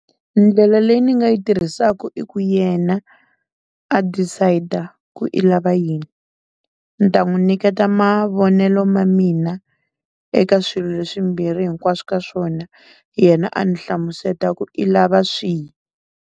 Ndlela leyi ni nga yi tirhisaka i ku yena a decide-a ku i lava yini, ni ta n'wu nyiketa mavonelo ma mina eka swilo leswimbirhi hinkwaswo ka swona yena a ni hlamuseta ku i lava swihi.